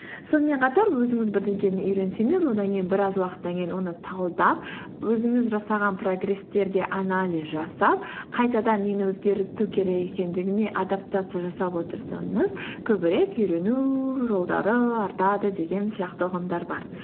сонымен қатар өзіңіз бірдеңені үйренсеңіз одан кейін біраз уақыттан кейін оны талдап өзіңіз жасаған прогресстерге анализ жасап қайтадан нені өзгерту керек екендігіне адаптация жасап отырсаңыз көбірек үйрену жолдары артады деген сияқты ұғымдар бар